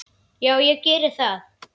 Já, ég geri það.